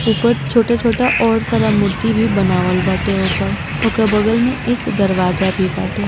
ऊपर छोटा छोटा ओर सारा मूर्ति भी बनावल बाटे ऊपर ओकरा बगल में एक दरवजा भी बाटे।